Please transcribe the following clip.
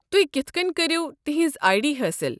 تُہۍ کتھ كٔنۍ كٔرِو تِہنز آیہ ڈی حٲصل۔